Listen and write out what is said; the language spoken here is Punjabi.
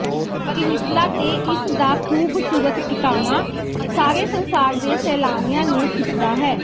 ਪਰਿਨਿਸਲਾ ਤੇ ਇਸਦਾ ਖੂਬਸੂਰਤ ਟਿਕਾਣਾ ਸਾਰੇ ਸੰਸਾਰ ਦੇ ਸੈਲਾਨੀਆਂ ਨੂੰ ਖਿੱਚਦਾ ਹੈ